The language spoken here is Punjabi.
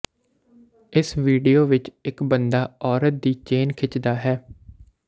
ਇਸ ਵੀਡੀਓ ਵਿਚ ਇਕ ਬੰਦਾ ਔਰਤ ਦੀ ਚੇਨ ਖਿੱਚ ਦਾ ਹੈ